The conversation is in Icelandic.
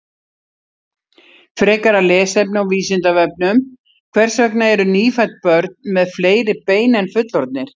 Frekara lesefni á Vísindavefnum: Hvers vegna eru nýfædd börn með fleiri bein en fullorðnir?